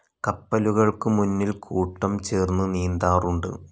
കപ്പലുകൾക്ക് മുന്നിൽ കൂട്ടം ചേർന്ന് നീന്താറുണ്ട്.